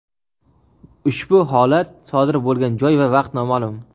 Ushbu holat sodir bo‘lgan joy va vaqt nomaʼlum.